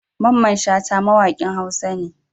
Mamman shata mawakin huasa ne